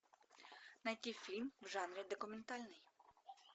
найти фильм в жанре документальный